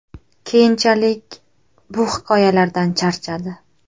Keyinchalik bu hikoyalardan charchadi.